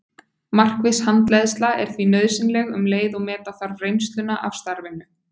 Markviss handleiðsla er því nauðsynleg um leið og meta þarf reynsluna af starfinu.